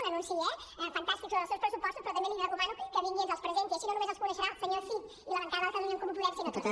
un anunci eh fantàstic sobre els seus pressupostos però també li recomano que vingui i ens els presenti així no només els coneixerà el senyor cid i la bancada de catalunya en comú podem sinó tots